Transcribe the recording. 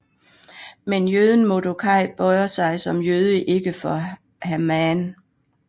Men jøden Mordokaj bøjer sig som jøde ikke for Haman